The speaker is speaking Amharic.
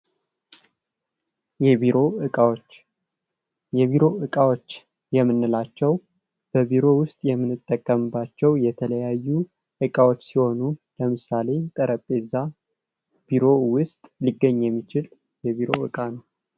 የቢሮ እቃዎች የቢሮ እቃዎች የምንላቸው በቢሮ ውስጥ የምንጠቀምባቸው የተለያዩ እቃዎች ሲሆኑ ለምሳሌ ጠረጴዛ ቢሮ ውስጥ ሊገኝ የሚችል የቢሮ እቃ ነው።